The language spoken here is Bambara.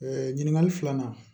ɲininkali filanan